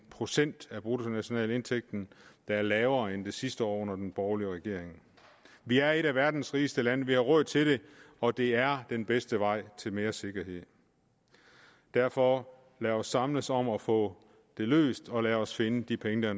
procent af bruttonationalindkomsten der er lavere end den sidste år under den borgerlige regering vi er et af verdens rigeste lande vi har råd til det og det er den bedste vej til mere sikkerhed derfor lad os samles om at få det løst og lad os finde de penge der